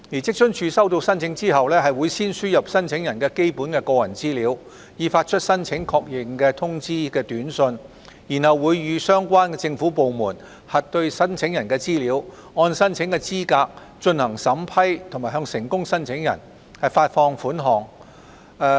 職津處收到申請後，會先輸入申請人基本的個人資料，以發出申請確認通知短訊，然後會與相關政府部門核對申請人的資料、按申請資格進行審批及向成功申請人發放款額。